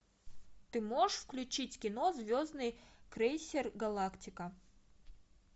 ты можешь включить кино звездный крейсер галактика